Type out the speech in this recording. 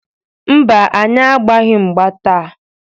Mba, anyị agbaghị mgba taa.